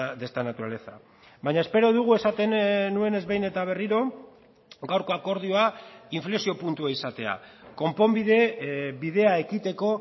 de esta naturaleza baina espero dugu esaten nuenez behin eta berriro gaurko akordioa inflexio puntua izatea konponbide bidea ekiteko